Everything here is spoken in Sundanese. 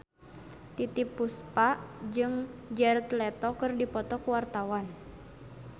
Titiek Puspa jeung Jared Leto keur dipoto ku wartawan